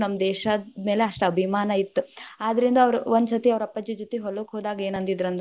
ನಮ್ ದೇಶದ್‌ ಮ್ಯಾಲ ಅಷ್ಟ್ ಅಭಿಮಾನ ಇತ್ತ್, ಆದರಿಂದ ಅವ್ರ ಒಂದ ಸತಿ ಅವ್ರ ಅಪ್ಪಾಜಿ ಜೊತಿ ಹೊಲಕ್ಕ ಹೋದಾಗ ಏನ ಅಂದಿಂದ್ರ ಅಂದ್ರ.